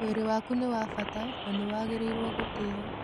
Mwĩrĩ waku nĩ wa bata, na nĩ wagĩrĩirũo gũtĩo.